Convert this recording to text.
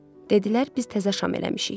Dedilər, biz təzə şam eləmişik.